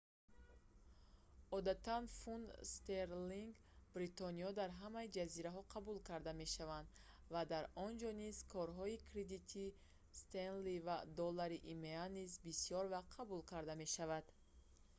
одатан фунт стерлинги бритониё дар ҳама ҷазираҳо қабул карда мешавад ва дар онҷо низ корҳои кредитии стенли ва доллари има низ бисёр вақт қабул карда мешавад